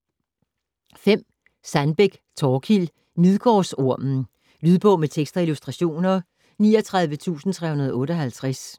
Sandbeck, Thorkild: Midgårdsormen Lydbog med tekst og illustrationer 39358